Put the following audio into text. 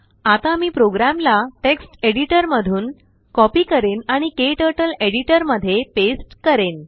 आता मी प्रोग्रामला टेक्स्ट एडिटरमधून कॉपी करेन आणिKTurtleएडिटरमध्ये पेस्ट करेन